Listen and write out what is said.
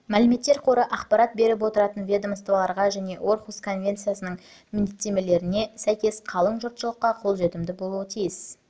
мәліметтер қоры ақпарат беріп отыратын ведомстволарға және орхусс конвенциясының міндеттемелеріне сәйкес қалың жұртшылыққа қолжетімді болуы тиіс